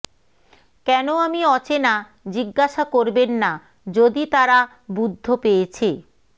কেন আমি অচেনা জিজ্ঞাসা করবেন না যদি তারা বুদ্ধ পেয়েছে